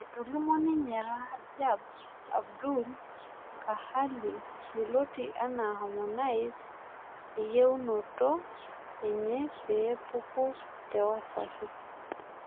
Etolimuo ninye Rajab Abdul Kahali yioloti anaa Harmonize eyiunoto enye peepuku te Wasafi